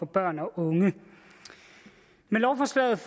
børn og unge med lovforslaget